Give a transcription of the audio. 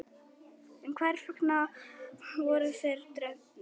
en hvers vegna voru þeir drepnir